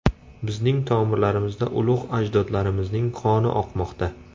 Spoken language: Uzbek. Bizning tomirlarimizda ulug‘ ajdodlarimizning qoni oqmoqda.